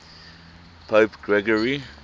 pope gregory